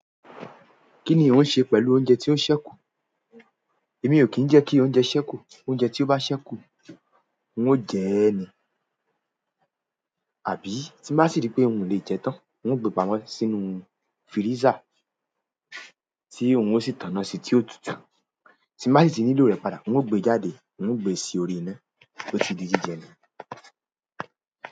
Kí ni ò ń ṣe pẹ̀lú oúnjẹ tí ó ṣẹ́kù? Èmi ò kí ń jẹ́ kí oúnjẹ ṣẹ́kù. Oúnjẹ tí ó bá ṣẹ́kù, n ó jẹ ẹ́ ni. Àbí tí n bá sì rí pé n o lè jẹ tán, n ó gbé pamọ́ sínú fíríṣà tí òun ó sì tànná sí tí ó tutù. Tí n bá sì ti nílò rẹ̀ padà, n ó gbe jáde, n ó gbe sí orí iná, ó ti di jíjẹ ni.